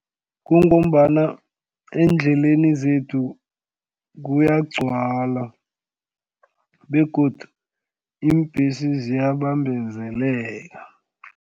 Kungombana endleleni zethu kuyagcwala begodu iimbhesi ziyabambezeleka.